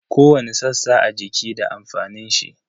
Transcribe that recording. Kowani sassa a jiki da amfanin shi.